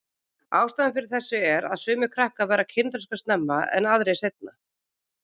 Ástæðan fyrir þessu er að sumir krakkar verða kynþroska snemma og aðrir seinna.